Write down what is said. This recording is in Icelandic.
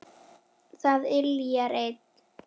Það yljar enn.